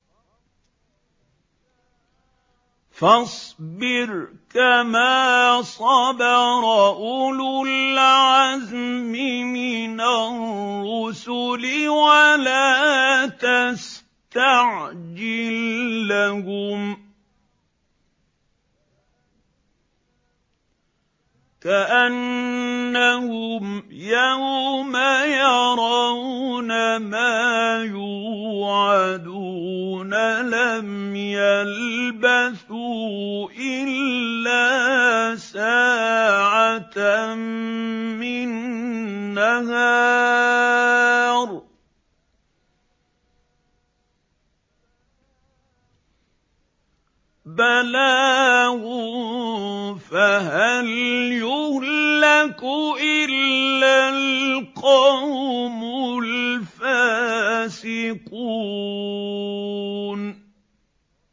فَاصْبِرْ كَمَا صَبَرَ أُولُو الْعَزْمِ مِنَ الرُّسُلِ وَلَا تَسْتَعْجِل لَّهُمْ ۚ كَأَنَّهُمْ يَوْمَ يَرَوْنَ مَا يُوعَدُونَ لَمْ يَلْبَثُوا إِلَّا سَاعَةً مِّن نَّهَارٍ ۚ بَلَاغٌ ۚ فَهَلْ يُهْلَكُ إِلَّا الْقَوْمُ الْفَاسِقُونَ